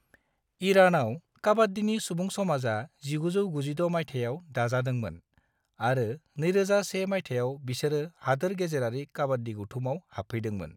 ईरानाव, काबाड्डीनि सुबुं समाजा 1996 मायथायाव दाजादोंमोन, आरो 2001 मायथायाव बिसोरो हादोर-गेजेरारि काबाड्डी गौथुमाव हाबफैदोंमोन।